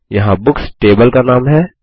यहाँ books table का नाम है